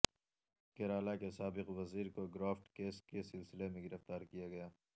کیرالہ کے سابق وزیر کو گرافٹ کیس کے سلسلے میں گرفتار کیا گیا